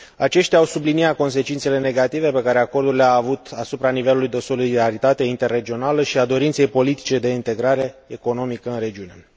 Aceștia au subliniat consecințele negative pe care acordul le a avut asupra nivelului de solidaritate interregională și a dorinței politice de integrare economică în regiune.